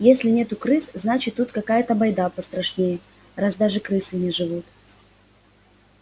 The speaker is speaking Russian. если нету крыс значит тут какая-то байда пострашнее раз даже крысы не живут